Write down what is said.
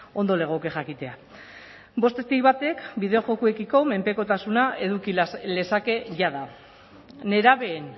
ondo legoke jakitea bostetik batek bideo jokoekiko menpekotasuna eduki lezake jada nerabeen